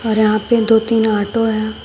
और यहां पे दो तीन ऑटो हैं।